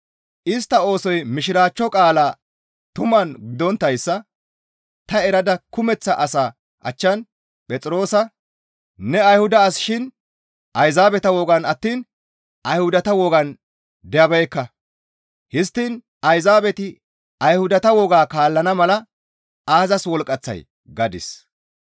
Istta oosoy Mishiraachcho qaalaa tuman gidonttayssa ta erada kumeththa asaa achchan Phexroosa, «Ne Ayhuda as shin Ayzaabeta wogan attiin Ayhudata wogan dabeekka; histtiin Ayzaabeti Ayhudata woga kaallana mala aazas wolqqaththay?» gadis.